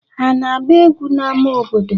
Ha ana-agba egwu n'ama obodo?